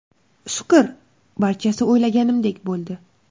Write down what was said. Shukr, barchasi o‘ylaganimdek bo‘ldi.